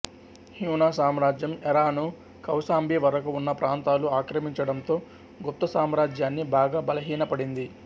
హ్యూణ సామ్రాజ్యం ఎరాను కౌసాంబి వరకు ఉన్న ప్రాంతాలు ఆక్రమించడంతో గుప్తసామ్రాజ్యాన్ని బాగా బలహీనపడింది